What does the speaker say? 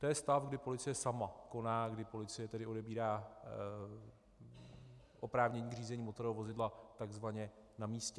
To je stav, kdy policie sama koná, kdy policie tedy odebírá oprávnění k řízení motorového vozidla tzv. na místě.